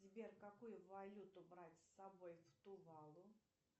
сбер какую валюту брать с собой в тувалу